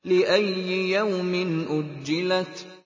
لِأَيِّ يَوْمٍ أُجِّلَتْ